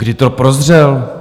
Kdy to prozřel?